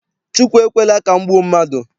Chukwu ekwela ka m gbuo mmadụ.